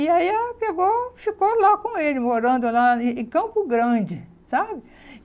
E aí ela pegou ficou lá com ele, morando lá em em Campo Grande, sabe?